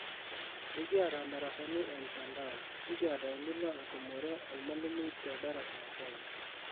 ekiata darasani e mtandao nikiata enilo atumore olmalimui te darasa kewon